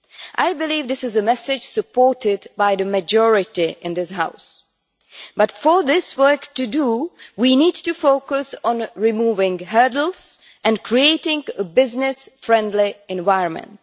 I believe this is a message supported by the majority in this House, but for this to work, we need to focus on removing hurdles and creating a business friendly environment.